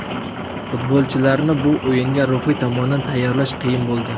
Futbolchilarni bu o‘yinga ruhiy tomondan tayyorlash qiyin bo‘ldi.